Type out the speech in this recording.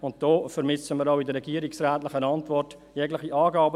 Hierzu vermissen wir auch in der regierungsrätlichen Antwort jegliche Angaben.